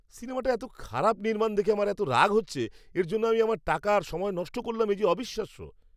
সিনেমাটার এত খারাপ নির্মাণ দেখে আমার এত রাগ হচ্ছে! এর জন্য আমি আমার টাকা আর সময় নষ্ট করলাম এ যে অবিশ্বাস্য!